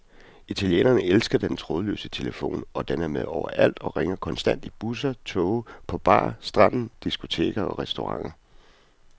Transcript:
Italienerne elsker den trådløse telefon, og den er med overalt og ringer konstant i busser, toge, på bar, stranden, diskoteker og restauranter.